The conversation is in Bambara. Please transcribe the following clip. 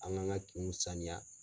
An kan ka kinw saniya.